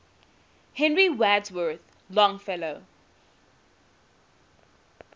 henry wadsworth longfellow